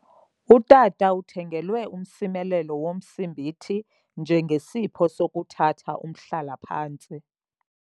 Utata uthengelwe umsimelelo womsimbithi njengesipho sokuthatha umhlala-phantsi